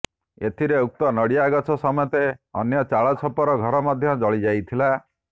ଏଥିରେ ଉକ୍ତ ନଡିଆ ଗଛ ସମେତ ଅନ୍ୟ ଚାଳ ଛପର ଘର ମଧ୍ୟ ଜଳି ଯାଇଥିଲା